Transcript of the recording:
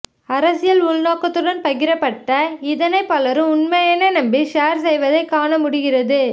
அரசியல் உள்நோக்கத்துடன் பகிரப்பட்ட இதனை பலரும் உண்மை என நம்பி ஷேர் செய்வதைக் காண முடிகிறது